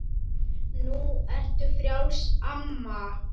Nú ertu frjáls, amma.